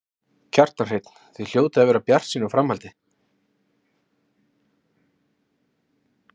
Kjartan Hreinn: Þið hljótið að vera bjartsýn á framhaldið?